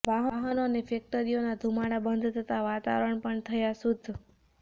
વાહનો અને ફેક્ટરીઓના ધુમાડા બંધ થતાં વાતાવરણ પણ થયાં શુદ્ધ